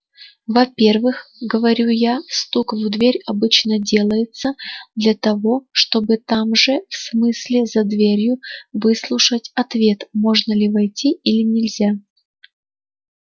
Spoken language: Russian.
во-первых говорю я стук в дверь обычно делается для того чтобы там же в смысле за дверью выслушать ответ можно ли войти или нельзя